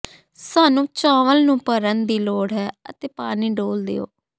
ਸਾਨੂੰ ਚਾਵਲ ਨੂੰ ਭਰਨ ਦੀ ਲੋੜ ਹੈ ਅਤੇ ਪਾਣੀ ਡੋਲ੍ਹ ਦਿਓ